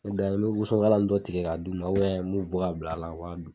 N dan ye n bɛ wosonkala in dɔ tigɛ ka d'u ma, m'u bɔ ka bila la, u b'a dun.